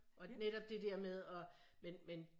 Og netop det dér med at men men